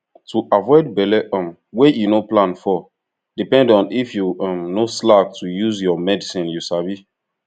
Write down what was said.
to avoid belle um wey you no plan for depend on if you um no slack to dey use your medicine you sabi